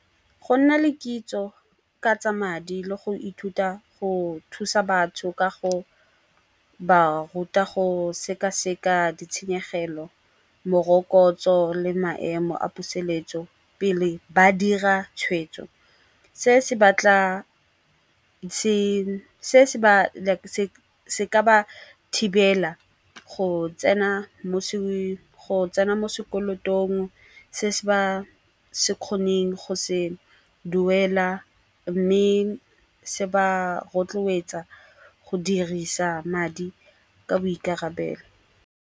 Go nna le kitso ka tsa madi le go ithuta go thusa batho ka go ba ruta go sekaseka ditshenyegelo, morokotso le maemo a poseletso pele ba dira tshwetso. Se se ka ba thibela go tsena mo sekolotong se se ba se kgoneng go se duela mme se ba rotloetsa go dirisa madi ka boikarabelo.